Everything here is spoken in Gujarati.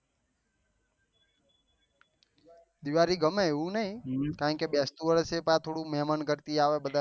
દિવાળી ગમે એવું નહી કારણ કે બેસતું વર્ષ છે એ મેહમાન ગદ્દી આવે બધા